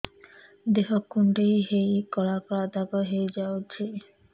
ଦେହ କୁଣ୍ଡେଇ ହେଇ କଳା କଳା ଦାଗ ହେଇଯାଉଛି